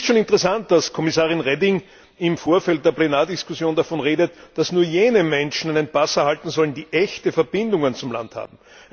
Es ist schon interessant, dass Kommissarin Reding im Vorfeld der Plenardiskussion davon redet, dass nur jene Menschen einen Pass erhalten sollen, die echte Verbindungen zum Land haben.